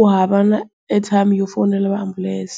U hava na airtime yo fonela va ambulence.